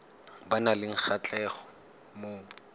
ba nang le kgatlhego mo